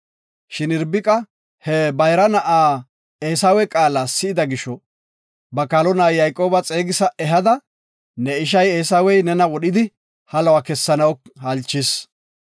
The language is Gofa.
Shin Irbiqa he ba bayra na7a Eesawe qaala si7ida gisho, ba kaalo na7a Yayqooba xeegisa ehada, “Ne isha Eesawey nena wodhidi haluwa kessanaw halchees.